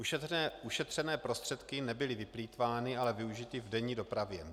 Ušetřené prostředky nebyly vyplýtvány, ale využity v denní dopravě.